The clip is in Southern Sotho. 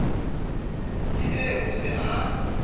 ke eo o se a